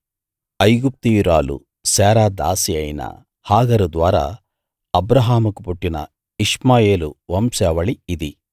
ఐగుప్తీయురాలూ Sarah దాసీ అయిన Hagar ద్వారా అబ్రాహాముకు పుట్టిన ఇష్మాయేలు వంశావళి ఇది